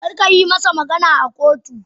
Kar kayi masa magana a kotu.